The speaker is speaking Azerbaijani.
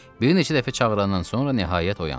Bir neçə dəfə çağırandan sonra nəhayət oyandı.